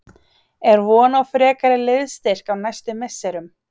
Er von á frekari liðsstyrk á næstu misserum?